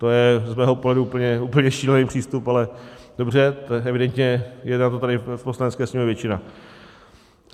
To je z mého pohledu úplně šílený přístup, ale dobře, evidentně je pro to tady v Poslanecké sněmovně většina.